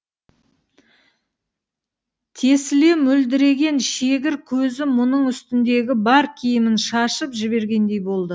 тесіле мөлдіреген шегір көзі мұның үстіндегі бар киімін шашып жібергендей болды